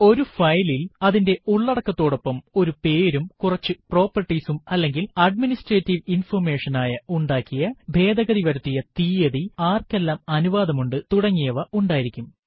ഒരു ഫയലിൽ അതിന്റെ ഉള്ളടക്കതോടൊപ്പം ഒരു പേരും കുറച്ചു പ്രോപ്പർട്ടീസ് അല്ലെങ്കിൽ അഡ്മിനിസ്ട്രേറ്റീവ് ഇൻഫർമേഷൻ ആയ ഉണ്ടാക്കിയ ഭേദഗതി വരുത്തിയ തീയതി ആര്ക്കെല്ലാം അനുവാദമുണ്ട് തുടങ്ങിയവ ഉണ്ടായിരിക്കും